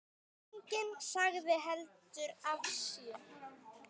Enginn sagði heldur af sér.